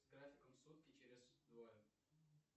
с графиком сутки через двое